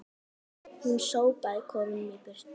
Hún sópaði kofanum í burtu